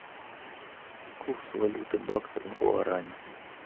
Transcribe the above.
курс валюты бакса к гуарани